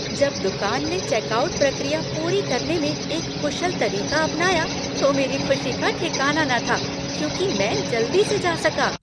जब दुकान ने चेकआउट प्रक्रिया पूरी करने में एक कुशल तरीका अपनाया तो मेरी खुशी का ठिकाना न था क्योंकि मैं जल्दी से जा सका।